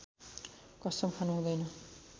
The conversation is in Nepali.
कसम खानु हुँदैन